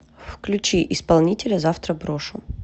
включи исполнителя завтра брошу